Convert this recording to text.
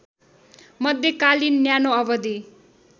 मध्यकालीन न्यानो अवधि